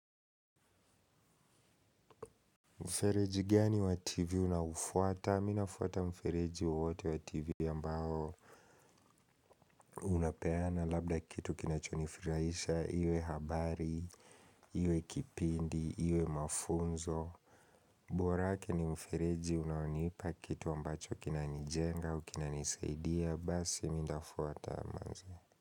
Mfereji gani wa tivi unaofuata? Mimi nafuata mfereji wowote wa tivi ambao unapeana labda kitu kinachonifurahisha iwe habari, iwe kipindi, iwe mafunzo. Bora yake ni mfereji unaonipa kitu ambacho kinanijenga, kinanisaidia, basi nitafuata manze.